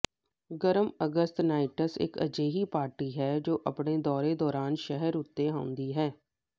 ਗਰਮ ਅਗਸਤ ਨਾਈਟਸ ਇੱਕ ਅਜਿਹੀ ਪਾਰਟੀ ਹੈ ਜੋ ਆਪਣੇ ਦੌਰੇ ਦੌਰਾਨ ਸ਼ਹਿਰ ਉੱਤੇ ਆਉਂਦੀ ਹੈ